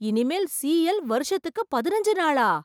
இனிமேல் சிஎல் வருஷத்துக்கு பதினஞ்சு நாளா?